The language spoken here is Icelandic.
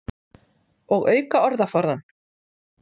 Og auka orðaforðann.